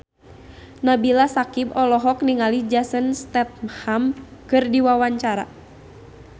Nabila Syakieb olohok ningali Jason Statham keur diwawancara